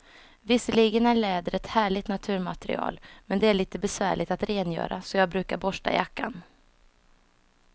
Visserligen är läder ett härligt naturmaterial, men det är lite besvärligt att rengöra, så jag brukar borsta jackan.